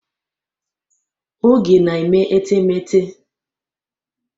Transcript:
Oge na-eme etemeete.